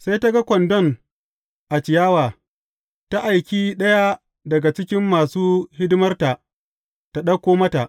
Sai ta ga kwandon a ciyawa, ta aiki ɗaya daga cikin masu hidimarta tă ɗauko mata.